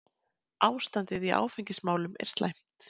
Ástandið í áfengismálum er slæmt.